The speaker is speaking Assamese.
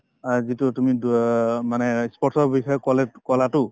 অ, যিটো তুমি দুয় মানে ই sports ৰ বিষয়ে কলে কলাতো